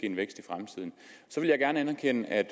en vækst i fremtiden så vil jeg gerne anerkende at